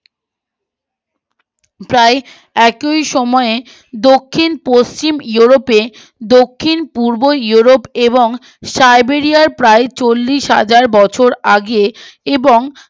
একই সময়ে দক্ষিণ পশ্চিম ইউরোপে দক্ষিণ পূর্ব ইউরোপ এবং সাইবেরিয়ার প্রায় চলিশ হাজার বছর আগে এবং